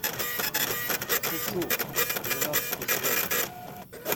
шучу двенадцатый сезон